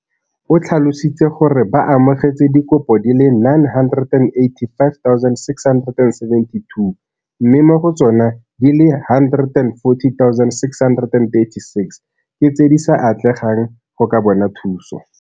O tlhalositse gore ba amogetse dikopo di le 985 672 mme mo go tsona di le 140 636 ke tse di sa atlegang go ka bona thuso.